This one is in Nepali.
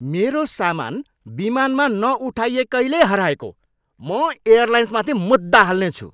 मेरो सामान विमानमा नउठाइएकैले हराएको। म एयलाइन्समाथि मुद्दा हाल्नेछु।